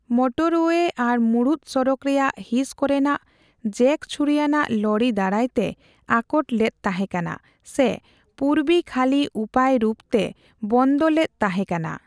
Motorway ᱟᱨ ᱢᱩᱬᱩᱛ ᱥᱚᱲᱚᱠ ᱨᱮᱭᱟᱜ ᱦᱤᱸᱥ ᱠᱚᱨᱮᱱᱟᱜ ᱡᱮᱠᱼᱪᱷᱩᱨᱤᱟᱱᱟᱜ ᱞᱚᱨᱤ ᱫᱟᱨᱟᱭ ᱛᱮ ᱟᱠᱚᱴ ᱞᱮᱫ ᱛᱟᱦᱮᱸ ᱠᱟᱱᱟ ᱥᱮ ᱯᱩᱨᱵᱤᱼᱠᱷᱟᱹᱞᱤ ᱩᱯᱟᱹᱭ ᱨᱩᱯ ᱨᱮ ᱵᱚᱱᱫᱚ ᱞᱮᱫ ᱛᱟᱦᱮᱸ ᱠᱟᱱᱟ ᱾